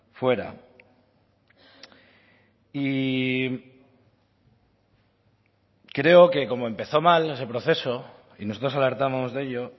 fuera y creo que como empezó mal ese proceso y nosotros alertamos de ello